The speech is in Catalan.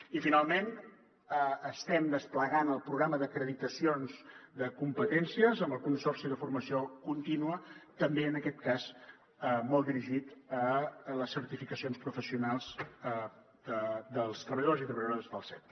i finalment estem desplegant el programa d’acreditacions de competències amb el consorci per a la formació contínua també en aquest cas molt dirigit a les certificacions professionals dels treballadors i treballadores dels cets